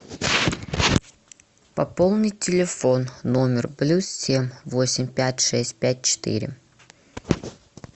пополнить телефон номер плюс семь восемь пять шесть пять четыре